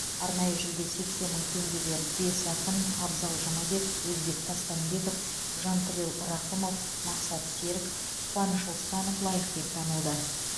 арнайы жүлде сексен мың теңгеге бес ақын абзал жұмабек өзбек тастамбеков жантілеу рақымов мақсат серік қуаныш оспанов лайық деп танылды